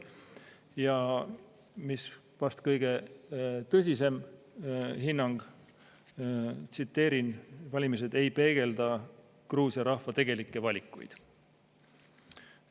Ja mis vast on kõige tõsisem hinnang, tsiteerin: "Valimised ei peegelda Gruusia rahva tegelikke valikuid.